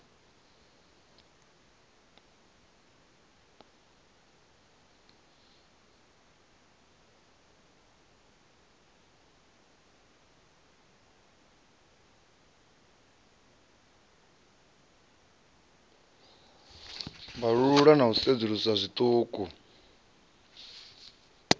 vhalululwa na u sedzuluswa zwiṱuku